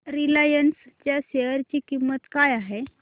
Reliance च्या share ची किंमत काय आहे